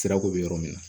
Sirako bɛ yɔrɔ min na